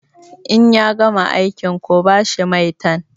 In ya gama aikin ku ba shi maitan!